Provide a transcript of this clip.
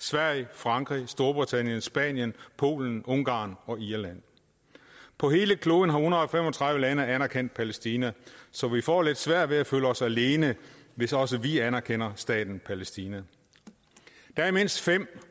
sverige frankrig storbritannien spanien polen ungarn og irland på hele kloden har en hundrede og fem og tredive lande anerkendt palæstina så vi får lidt svært ved at føle os alene hvis også vi anerkender staten palæstina der er mindst fem